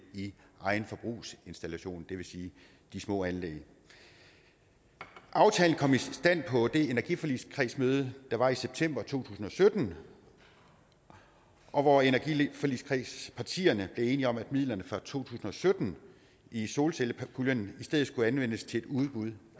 i egen forbrugsinstallation det vil sige de små anlæg aftalen kom i stand på det energiforligskredsmøde der var i september to tusind og sytten og hvor energiforligskredspartierne blev enige om at midlerne fra to tusind og sytten i solcellepuljen i stedet skulle anvendes til et udbud